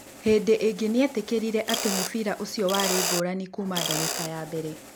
Hĩndĩ ĩngĩ nĩ eetĩkĩrire atĩ mũbira ũcio warĩ ngũrani kuma ndagĩka ya mbere.